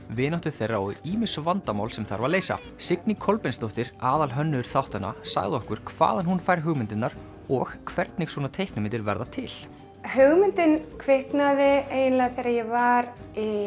vináttu þeirra og ýmis vandamál sem þarf að leysa Signý Kolbeinsdóttir aðalhönnuður þáttanna sagði okkur hvaðan hún fær hugmyndirnar og hvernig svona teiknimyndir verða til hugmyndin kviknaði eiginlega þegar ég var